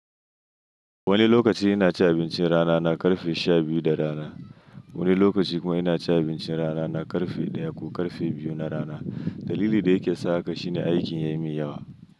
Wani lokaci ina cin abincin rana na ƙarfe sha biyu da rana, wani lokaci kuma ina cin abincin rana na ƙarfe ɗaya ko ƙarfe biyu na rana. Dalili da yake sa haka shine aikin ya yi min yawa.